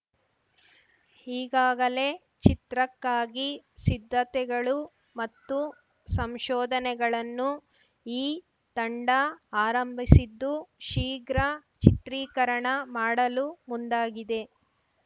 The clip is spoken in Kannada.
ಈಗಾಗಲೇ ಚಿತ್ರಕ್ಕಾಗಿ ಸಿದ್ಧತೆಗಳು ಮತ್ತು ಸಂಶೋಧನೆಗಳನ್ನು ಈ ತಂಡ ಆರಂಭಿಸಿದ್ದು ಶೀಘ್ರ ಚಿತ್ರೀಕರಣ ಮಾಡಲು ಮುಂದಾಗಿದೆ